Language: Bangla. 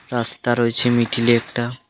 রাস্তা রয়েছে মিডিলে একটা .